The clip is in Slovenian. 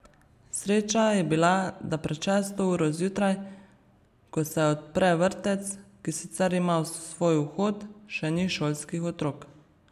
Sreča je bila, da pred šesto uro zjutraj, ko se odpre vrtec, ki sicer ima svoj vhod, še ni šolskih otrok.